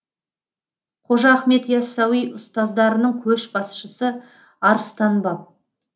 қожа ахмет яссауи ұстаздарының көшбасшысы арыстан баб